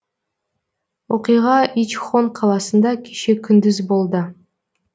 оқиға ичхон қаласында кеше күндіз болды